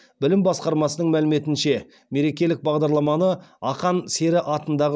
білім басқармасының мәліметінше мерекелік бағдарламаны ақан сері атындағы